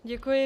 Děkuji.